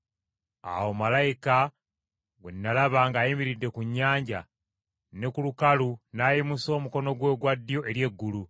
Awo malayika gwe nalaba ng’ayimiridde ku nnyanja ne ku lukalu n’ayimusa omukono gwe ogwa ddyo eri eggulu,